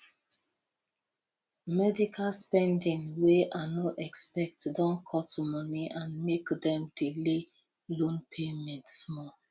medical spending wey i no expect don cut money and make dem delay loan payment small